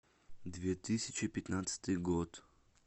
две тысячи пятнадцатый год